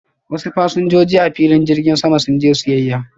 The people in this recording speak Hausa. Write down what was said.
wasu fasinjoji a filin jirgin sama sun je siyyaya.